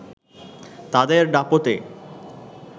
তাদের দাপটে